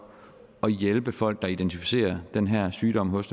at hjælpe folk der identificerer den her sygdom hos